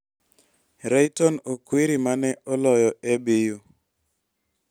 Rayton Okwiri ma ne oloyo ABU.